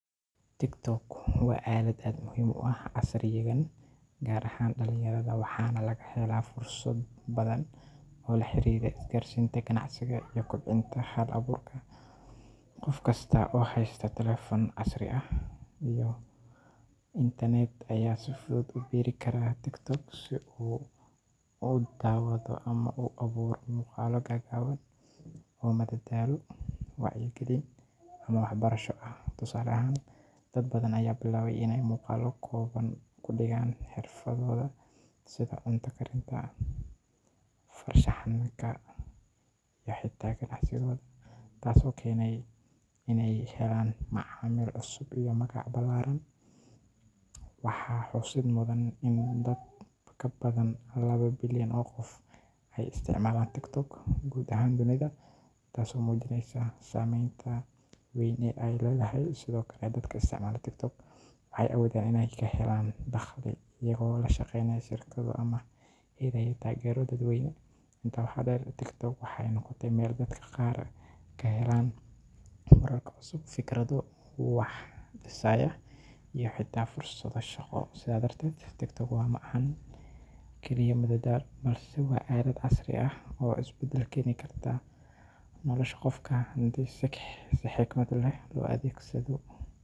TikTok waa aalad aad muhiim u ah casrigan, gaar ahaan dhallinyarada, waxaana laga helaa fursado badan oo la xiriira isgaarsiinta, ganacsiga, iyo kobcinta hal-abuurka. Qof kasta oo haysta taleefan casri ah iyo internet ayaa si fudud ugu biiri kara TikTok si uu u daawado ama u abuuro muuqaallo gaagaaban oo madadaalo, wacyigelin, ama waxbarasho ah. Tusaale ahaan, dad badan ayaa bilaabay iney muuqaallo kooban ku dhigaan xirfadooda sida cunto karinta, farshaxanka ama xitaa ganacsigooda, taasoo keentay iney helaan macaamiil cusub iyo magac ballaaran. Waxaa xusid mudan in dad ka badan laba bilyan oo qof ay isticmaalaan TikTok guud ahaan dunida, taasoo muujinaysa saamaynta weyn ee ay leedahay. Sidoo kale, dadka isticmaala TikTok waxay awoodaan inay ka helaan dakhli iyagoo la shaqeynaya shirkado ama helaya taageero dadweyne. Intaa waxaa dheer, TikTok waxay noqotay meel dadka qaar kaga helaan wararka cusub, fikrado wax dhisaya, iyo xitaa fursado shaqo. Sidaa darteed, TikTok ma ahan oo keliya madadaalo, balse waa aalad casri ah oo isbeddel keeni karta nolosha qofka haddii si xikmad leh loo adeegsado.